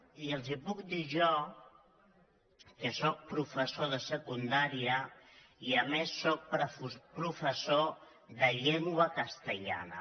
i els ho puc dir jo que sóc professor de secundària i a més sóc professor de llengua castellana